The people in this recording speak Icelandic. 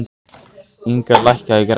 Inga, lækkaðu í græjunum.